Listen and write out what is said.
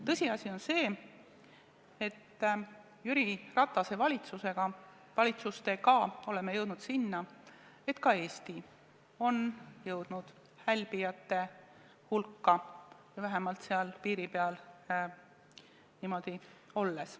Tõsiasi on see, et Jüri Ratase valitsustega me oleme jõudnud selleni, et ka Eesti on jõudnud hälbijate hulka või vähemalt selle piiri peale.